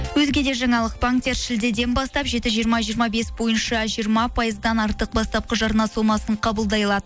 өзге де жаңалық банктер шілдеден бастап жеті жиырма жиырма бес бойынша жиырма пайыздан артық бастапқы жарна сомасын қабылдай алады